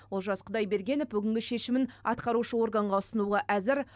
олжас құдайбергенов бүгінгі шешімін атқарушы органға ұсынуға әзір